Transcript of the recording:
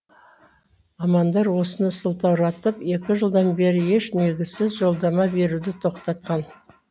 мамандар осыны сылтауратып екі жылдан бері еш негізсіз жолдама беруді тоқтатқан